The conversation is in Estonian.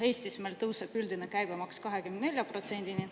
Eestis tõuseb üldine käibemaks 24%-ni.